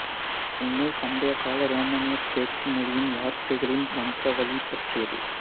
இந்நூல் பண்டைக்கால ரோமானிய பேச்சு மொழியின் வார்த்தைகளின் வம்சாவளி பற்றியது